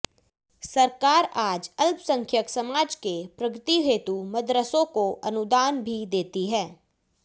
सरकार आज अल्पसंख्यंक समाज के प्रगती हेतु मदरसों को अनुदान भी देती है